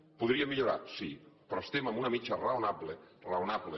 ho podríem millorar sí però estem en una mitjana raonable raonable